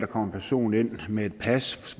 kommer en person ind med et pas